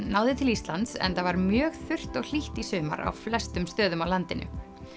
náði til Íslands enda var mjög þurrt og hlýtt í sumar á flestum stöðum á landinu